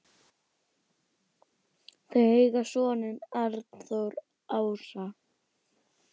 Þau eiga soninn Arnþór Ása.